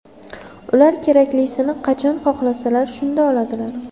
Ular keraklisini qachon xohlasalar, shunda oladilar.